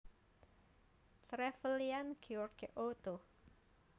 Trevelyan George Otto